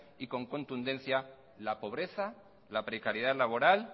y con contundencia la pobreza la precariedad laboral